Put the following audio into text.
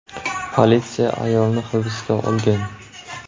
Politsiya ayolni hibsga olgan.